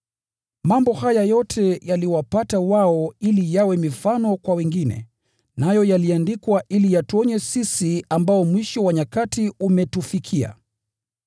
Mambo haya yote yaliwapata wao ili yawe mifano kwa wengine, nayo yaliandikwa ili yatuonye sisi ambao mwisho wa nyakati umetufikia.